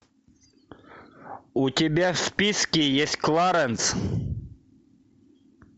у тебя в списке есть кларенс